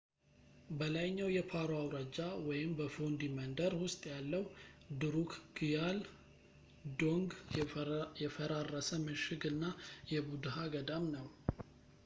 በላይኛው የፓሮ አውራጃ በፎንዲ መንደር ውስጥ ያለው ድሩክግያል ዶንግ የፈራረሰ ምሽግ እና የቡድሃ ገዳም ነው